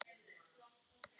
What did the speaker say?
Þinn sonur, Ingi Magnús.